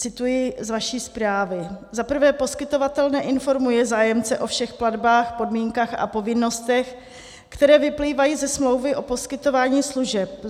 Cituji z vaší zprávy: Za prvé, poskytovatel neinformuje zájemce o všech platbách, podmínkách a povinnostech, které vyplývají ze smlouvy o poskytování služeb.